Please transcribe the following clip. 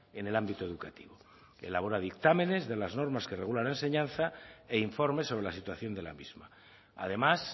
en el ámbito educativo elabora dictámenes de las normas que regula la enseñanza e informe sobre la situación de la misma además